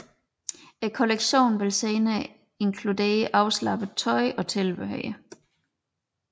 Kollektionen vil senere inkludere afslappet tøj og tilbehør